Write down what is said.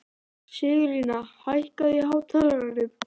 Sigurlína, hækkaðu í hátalaranum.